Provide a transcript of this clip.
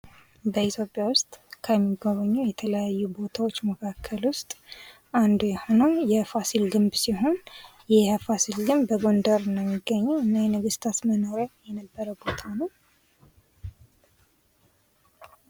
በኢትዮጵያ ዉስጥ ከሚጎበኙ የተለያዩ ቦታዎች መካከል ዉስጥ አንዱ የሆነው የፋሲል ግንብ ሲሆን ይህ የፋሲል ግንብ በጎንደር ነው የሚገኘው እና የነገስታት መኖሪያ የነበረ ቦታ ነው።